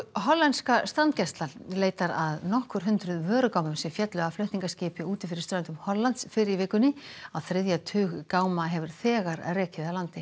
hollenska strandgæslan leitar að nokkur hundruð vörugámum sem féllu af flutningaskipi úti fyrir ströndum Hollands fyrr í vikunni á þriðja tug gáma hefur þegar rekið að landi